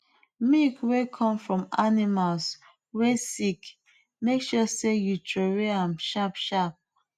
milk wey come from animals wey sick make sure sey u throwaway am sharp sharp